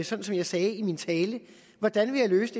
sådan som jeg sagde i min tale hvordan vil jeg løse